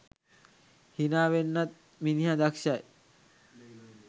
හිනා වෙන්නත් මිනිහ දක්ෂයි.